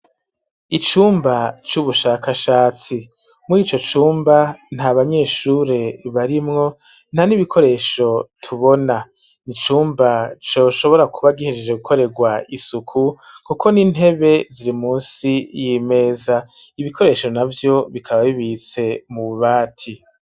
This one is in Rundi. Icumba c'ubushakashatsi mur'ico cumba nta banyeshure barimwo nta n'ibikoresho tubona, nicumba coshobora kuba gihejeje gukorerwa isuku kuko n'intebe ziri munsi y'imeza, ibikoresho navyo bikaba bibitse mu bubati.